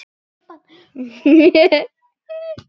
Man ekki.